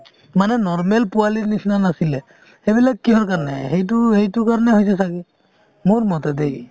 মানে normal পোৱালিৰ নিচিনা নাছিলে সেইবিলাক কিহৰ কাৰণে আহে সেইটো সেইটোৰ কাৰণে হৈছে ছাগে মোৰমতে দেই